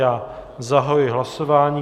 Já zahajuji hlasování.